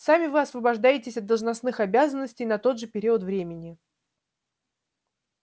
сами вы освобождаетесь от должностных обязанностей на тот же период времени